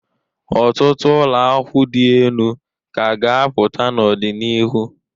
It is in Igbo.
Ọtụtụ ụlọakwụ dị enu ka a ga-apụta n'ọdị n'iru.